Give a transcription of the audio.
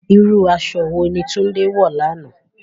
Irú aṣọ wo ni Tunde wọ̀ lánàá?